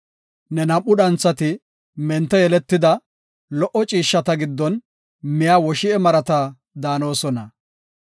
Ne nam7u dhanthati mente yeletida, lo77o ciishshata giddon miya woshi7e marata daanosona.